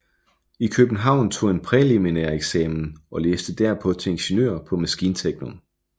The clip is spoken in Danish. I København tog han præliminæreksamen og læste derpå til ingeniør på maskinteknikum